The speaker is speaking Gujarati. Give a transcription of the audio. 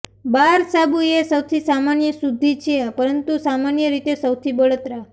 બાર સાબુ એ સૌથી સામાન્ય શુદ્ધિ છે પરંતુ સામાન્ય રીતે સૌથી બળતરા